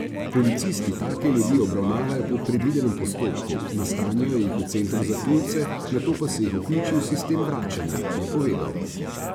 Policisti take ljudi obravnavajo po predvidenem postopku, nastanijo jih v centru za tujce, nato pa se jih vključi v sistem vračanja, je povedal.